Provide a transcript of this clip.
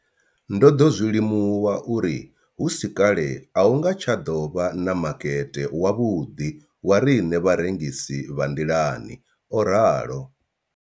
Ndo ḓo zwi limuwa uri hu si kale a hu nga tsha ḓo vha na makete wavhuḓi wa riṋe vharengisi vha nḓilani, o ralo.